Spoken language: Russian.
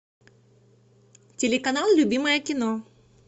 телеканал любимое кино